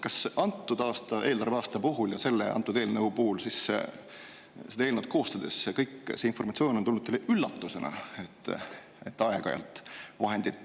Kas antud eelarveaasta puhul ja selle eelnõu puhul, seda eelnõu koostades, on tulnud teile üllatusena kogu see informatsioon, et aeg-ajalt